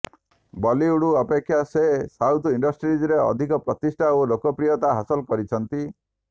ବଲିଉଡ ଅପେକ୍ଷା ସେ ସାଉଥ ଇଣ୍ଡଷ୍ଟ୍ରିରେ ଅଧିକ ପ୍ରତିଷ୍ଠା ଓ ଲୋକପ୍ରିୟତା ହାସଲ କରିଛନ୍ତି